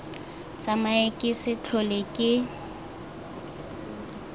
tsamae ke se tlhole ke